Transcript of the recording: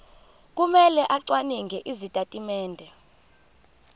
kumele acwaninge izitatimende